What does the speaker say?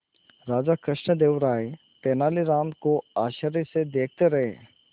राजा कृष्णदेव राय तेनालीराम को आश्चर्य से देखते रहे